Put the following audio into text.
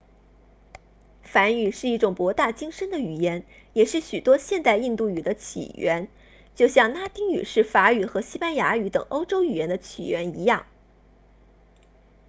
梵语是一种博大精深的语言也是许多现代印度语的起源就像拉丁语是法语和西班牙语等欧洲语言的起源一样